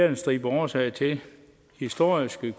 en stribe årsager til historiske